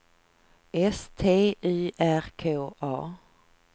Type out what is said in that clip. S T Y R K A